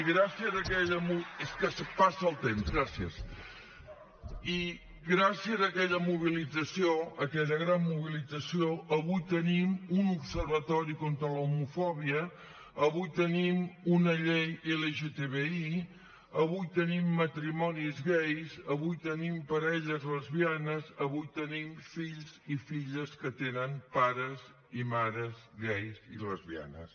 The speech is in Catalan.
és que passa el temps gràcies gràcies a aquella mobilització a aquella gran mobilització avui tenim un observatori contra l’homofòbia avui tenim una llei lgtbi avui tenim matrimonis gais avui tenim parelles lesbianes avui tenim fills i filles que tenen pares i mares gais i lesbianes